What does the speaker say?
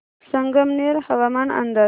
संगमनेर हवामान अंदाज